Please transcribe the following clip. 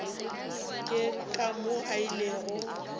ke ka moo a ilego